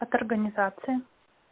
от организации